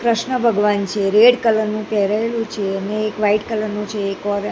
કૃષ્ણ ભગવાન છે red colour નું પેરેલું છે અને એક વ્હાઇટ કલર નું છે એક ઓરે--